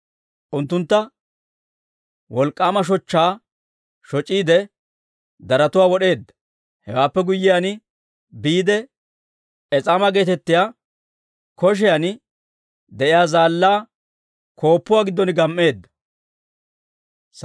Unttuntta wolk'k'aama shochchaa shoc'iide, darotuwaa wod'eedda. Hewaappe guyyiyaan biide, Es'aama geetettiyaa koshiyan de'iyaa zaallaa gonggoluwaa giddon gam"eedda.